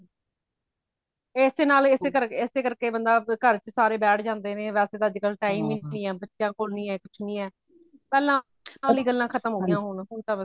ਏਸੇ ਨਾਲ ਏਸੇ ਕਰਕੇ ਏਸੇ ਕਰਕੇ ਬੰਦਾ ਘਰ ਵਿੱਚ ਸਾਰੇ ਬੈਠ ਜਾਂਦੇ ਨੇ ਵੇਸੇ ਤੇ ਅੱਜ ਕਲ time ਹੀ ਨਹੀਂ ਹੈ ਬੱਚਿਆਂ ਕੋਲ ਹੀ ਨਹੀਂ ਹੈ ਕੁਛ ਨਹੀਂ ਪਹਿਲਾਂ ਪਹਿਲਿਆਂ ਗਲਾ ਖਤਮ ਹੋ ਗਇਆ ਹੋਣ ਹੁਣ ਤਾ ਬਸ